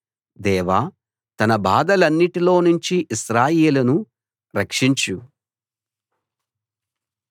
దేవా తన బాధలన్నిటిలో నుంచి ఇశ్రాయేలును రక్షించు